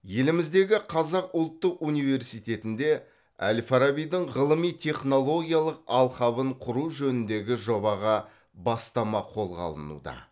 еліміздегі қазақ ұлттық университетінде әл фарабидің ғылыми технологиялық алқабын құру жөніндегі жобаға бастама қолға алынуда